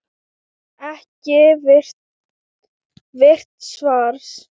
Ekki virt svars?